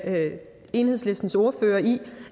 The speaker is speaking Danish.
med enhedslistens ordfører i